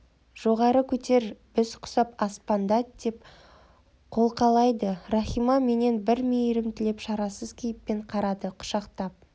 жоғары көтер біз құсап аспандат деп қолқалайды рахима менен бір мейірім тілеп шарасыз кейіппен қарады құшақтап